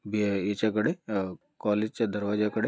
बे ईचा कड़े अ कॉलेज च्या दरवाजा कड़े--